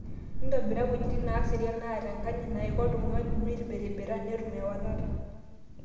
Entobira wejitin neeserian, naataenkanyit naaiko oltung'ani meibirrirbiranetum ewalata